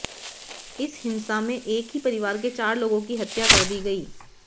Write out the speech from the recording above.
इस हिंसा में एक ही परिवार के चार लोगो की हत्या कर दी गयी